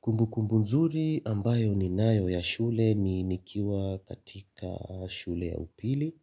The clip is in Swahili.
Kumbukumbu mzuri ambayo ninayo ya shule ni nikiwa katika shule ya upili,